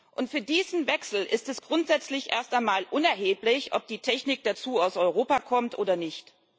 Und für diesen Wechsel ist es grundsätzlich erst einmal unerheblich, ob die Technik dazu aus Europa kommt oder nicht.